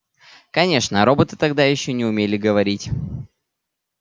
конечно роботы тогда ещё не умели говорить